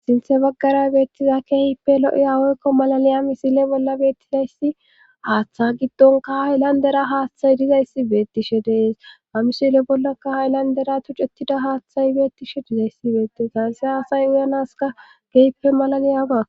sinthe baggara beettiza keehippe lo7iyawoykko malaniya misile bolla beettizayssi haaththa giddonka hahe landera haaththay dizayssi beettishe dees amishile bollakaha landera tuccettida haaththay beettishe dizayssi beettis ganse hasay uyanaska gehppe malaniyaba